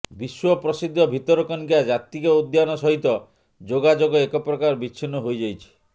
ବିଶ୍ୱ ପ୍ରସିଦ୍ଧ ଭିତରକନିକା ଜାତୀୟ ଉଦ୍ୟାନ ସହିତ ଯୋଗାଯୋଗ ଏକ ପ୍ରକାର ବିଛିନ୍ନ ହୋଇଯାଇଛି